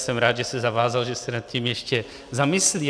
Jsem rád, že se zavázal, že se nad tím ještě zamyslí.